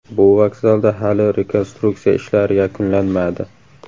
Bu vokzalda hali rekonstruksiya ishlari yakunlanmadi.